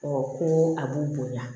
ko a b'u bonya